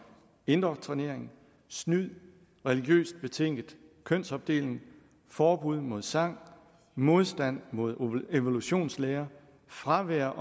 indoktrinering snyd religiøst betinget kønsopdeling forbud mod sang modstand mod evolutionslære fravær